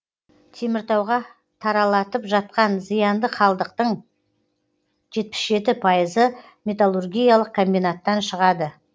теміртауға таралатып жатқан зиянды қалдықтың жетпіс жеті пайызы металлургиялық комбинаттан шығады